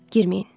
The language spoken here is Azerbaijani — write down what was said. Girməyin.